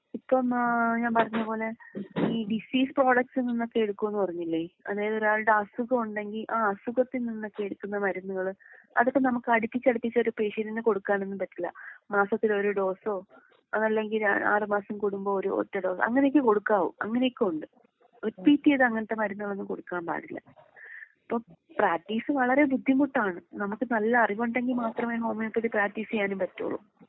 ഇപ്പം ആഹ് ഞാൻ പറഞ്ഞ പോലെ ഈ ഡിസീസ് പ്രോഡക്റ്റ്സിൽ നിന്നൊക്കെ എടുക്കുമെന്ന് പറഞ്ഞില്ലേ? അതായത് ഒരാളുടെ അസുഖം ഉണ്ടെങ്കിൽ ആ അസുഖത്തിൽ നിന്നൊക്കെ എടുക്കുന്ന മരുന്നുകള് അതൊക്കെ നമുക്ക് അടുപ്പിച്ച് അടുപ്പിച്ച് ഒരു പേഷ്യന്റിന് കൊടുക്കാനൊന്നും പറ്റില്ലാ. മാസത്തിൽ ഒരു ഡോസോ അതല്ലെങ്കിൽ ആറ് മാസം കൂടുമ്പോ ഒരു ഒറ്റ ഡോസ് അങ്ങനെയൊക്കെ കൊടുക്കാവൂ. അങ്ങനെയൊക്കെയുണ്ട്. റിപ്പീറ്റ് ചെയ്ത് അങ്ങനത്തെ മരുന്നുകളൊന്നും കൊടുക്കാൻ പാടില്ല. ഇപ്പൊ പ്രാക്ടീസ് വളരേ ബുദ്ധിമുട്ടാണ്.നമുക്ക് നല്ല അറിവുണ്ടെങ്കിൽ മാത്രമേ ഹോമിയോപ്പതി പ്രാക്ടീസ് ചെയ്യാനും പറ്റുവൊള്ളൂ.